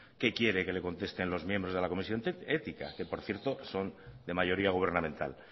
qué quiere que le conteste los miembros de la comisión ética que por cierto son de mayoría gubernamental